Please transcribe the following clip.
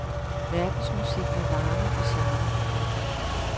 Verdensmusik med varme og charme. punktum